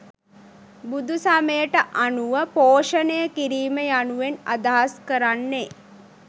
බුදුසමයට අනුව පෝෂණයකිරීම යනුවෙන් අදහස් කරන්නේ